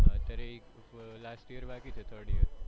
અત્યારે એક last year બાકી છે third year માટે